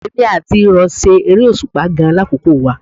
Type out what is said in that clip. Èmi àti ìrọ̀ ṣe eré òṣùpá gan-an lákòókò wa